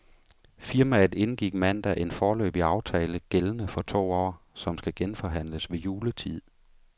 Firmaet indgik mandag en foreløbig aftale gældende for to år, som skal genforhandles ved juletid.